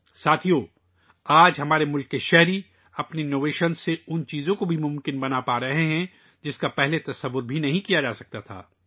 دوستو، آج ہمارے ہم وطن اپنی اختراعات سے وہ کام ممکن بنا رہے ہیں ، جس کا پہلے تصور بھی نہیں کیا جا سکتا تھا